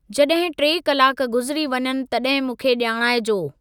जॾहिं टे कलाक गुज़िरी वञनि तॾहिं मूंखे ॼाणाइजो।